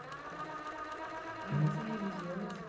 Ah, você é religioso?